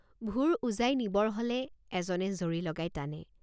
ভুৰ উজাই নিবৰ হলে এজনে জৰী লগাই টানে।